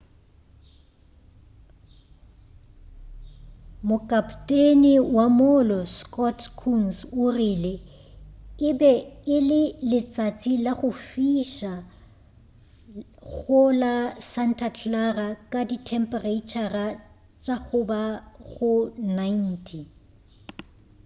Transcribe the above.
mokapoteni wa mollo scott kouns o rile e be e le letšatši la go fiša go la santa clara ka dithemphereitšhara tša go ba go 90